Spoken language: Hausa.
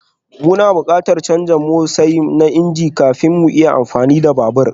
Muna buƙatar canza matosai na injin kafin mu iya amfani da babur